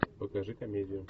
покажи комедию